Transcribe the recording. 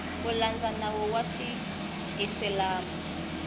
ku landza nawu wa xiisilamu